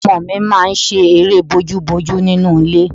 Àwọn ọmọ mi máa ń ṣe eré bójúbojú nínú ilé